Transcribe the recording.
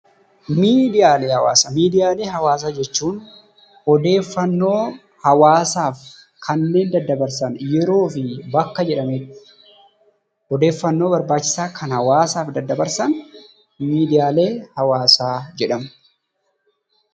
Miidiyaalee hawaasaa Miidiyaalee hawaasaa jechuun odeeffannoo hawaasaaf kanneen daddabarsan yeroo fi bakka jedhametti; odeeffannoo barbaachisaa kan hawaasaaf daddabarsan miidiyaalee hawaasaa jedhamu.